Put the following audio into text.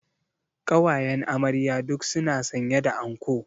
Ƙawayen amarya duk su na sanye da anko